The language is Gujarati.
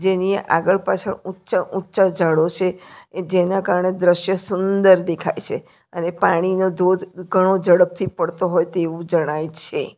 જેની આગળ પાછળ ઉંચા ઉંચા ઝાડો છે ને જેના કારણે દ્રશ્ય સુંદર દેખાય છે અને પાણીનો ધોધ ઘણો ઝડપથી પડતો હોય તેવું જણાય છે.